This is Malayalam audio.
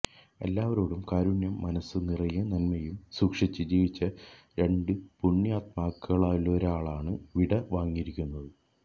എല്ലാവരോടും കാരുണ്യവും മനസ് നിറയെ നന്മയും സൂക്്ഷിച്ച് ജീവിച്ച രണ്ട് പുണ്യാത്മാക്കളിലൊരാളാണ് വിട വാങ്ങിയിരിക്കുന്നത്